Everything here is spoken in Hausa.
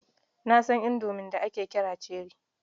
Na san Indomie da ake kira cherrie.